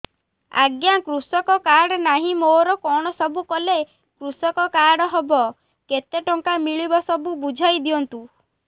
ଆଜ୍ଞା କୃଷକ କାର୍ଡ ନାହିଁ ମୋର କଣ ସବୁ କଲେ କୃଷକ କାର୍ଡ ହବ କେତେ ଟଙ୍କା ମିଳିବ ସବୁ ବୁଝାଇଦିଅନ୍ତୁ